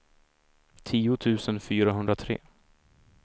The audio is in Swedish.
tio tusen fyrahundratre